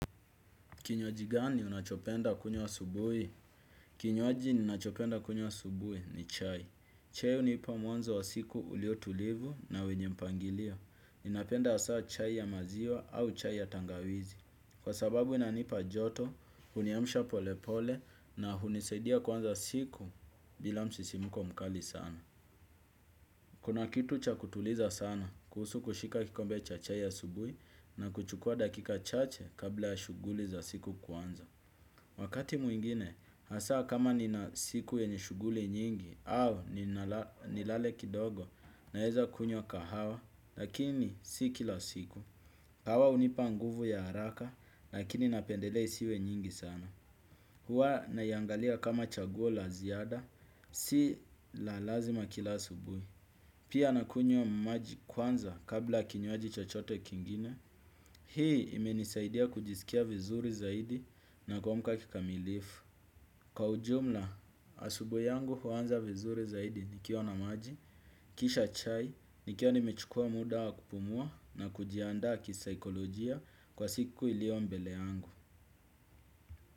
Kinywaji gani unachopenda kunywa asubuhi? Kinywaji ninachopenda kunywa asubuhi ni chai. Chai hunipa mwanzo wa siku ulio tulivu na wenye mpangilio. Ninapenda hasa chai ya maziwa au chai ya tangawizi. Kwa sababu inanipa joto, huniamsha pole pole na hunisaidia kuanza siku bila msisimko mkali sana. Kuna kitu cha kutuliza sana, kuhusu kushika kikombe cha chai ya asubuhi na kuchukua dakika chache kabla ya shughuli za siku kuanza. Wakati mwingine, hasa kama nina siku yenye shughuli nyingi, au nilale kidogo, naeza kunywa kahawa, lakini si kila siku. Kahawa hunipa nguvu ya haraka, lakini napendelea isiwe nyingi sana. Huwa naiangalia kama chaguo la ziada, si la lazima kila asubuhi. Pia nakunywa maji kwanza kabla kinywaji chochote kingine. Hii imenisaidia kujisikia vizuri zaidi na kumka kikamilifu. Kwa ujumla, asubuhi yangu huanza vizuri zaidi nikiwa na maji, kisha chai, nikiwa nimechukua muda wa kupumua na kujiandaa kisaikolojia kwa siku ilio mbele yangu.